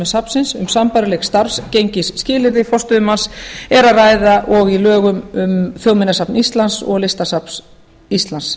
safnsins um sambærileg starfsgengisskilyrði forstöðumanns er að ræða og í lögum um þjóðminjasafn íslands og listasafn íslands